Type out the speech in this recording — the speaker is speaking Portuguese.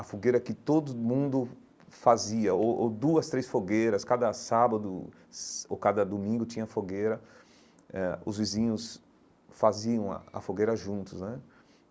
a fogueira que todo mundo fazia, o ou duas, três fogueiras, cada sábado ou cada domingo tinha fogueira, eh os vizinhos faziam a a fogueira juntos né.